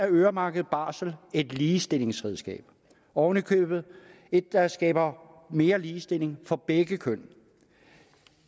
øremærket barsel et ligestillingsredskab oven i købet et der skaber mere ligestilling for begge køn